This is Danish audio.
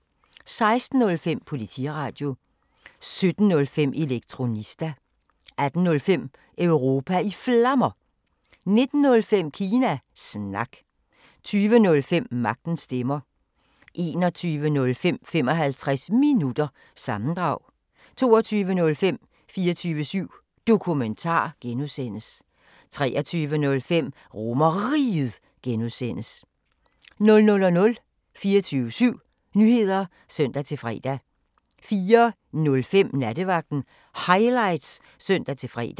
16:05: Politiradio 17:05: Elektronista 18:05: Europa i Flammer 19:05: Kina Snak 20:05: Magtens Stemmer 21:05: 55 Minutter – sammendrag 22:05: 24syv Dokumentar (G) 23:05: RomerRiget (G) 00:00: 24syv Nyheder (søn-fre) 04:05: Nattevagten Highlights (søn-fre)